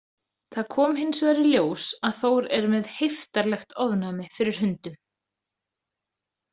Það kom hinsvegar í ljós að Þór er með heiftarlegt ofnæmi fyrir hundum.